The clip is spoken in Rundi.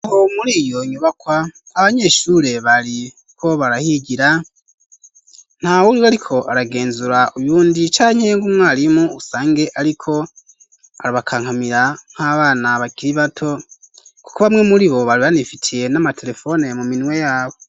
Muri iyo nyubakwa abanyeshure bariho barahigira nta uriwe ariko aragenzura uyundi cankeynga umwarimu usange ariko arabakankamira nk'abana bakiri bato kuko bamwe muri bo bari banifitiye n'amaterefone mu minwe yabo.